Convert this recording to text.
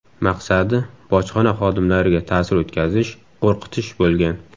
Maqsadi – bojxona xodimlariga ta’sir o‘tkazish, qo‘rqitish bo‘lgan.